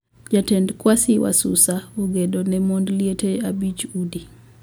Jatend kwasi wasusa ogedo ne mond liete abich udi